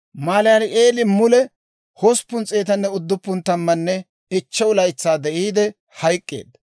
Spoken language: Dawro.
Malaali'eeli mule 895 laytsaa de'iide hayk'k'eedda.